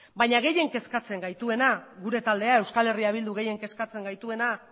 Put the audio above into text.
baina gehien kezkatzen gaituena eh bilduri